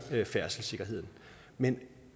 færdselssikkerheden men